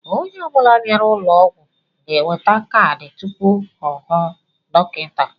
Onye ọ bula bịara ụlọ ọgwụ ga-enweta kaadị tụpụ ọ hụ dọkịta.